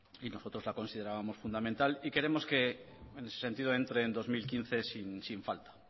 y nosotros la considerábamos fundamental y queremos que en ese sentido entre en dos mil quince sin falta